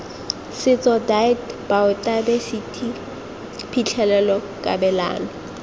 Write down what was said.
setso deat baotaebesithi phitlhelelo kabelano